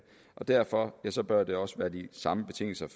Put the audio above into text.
og derfor bør det også være de samme betingelser